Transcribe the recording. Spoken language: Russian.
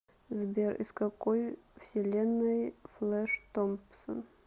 сбер из какой вселенной флэш томпсон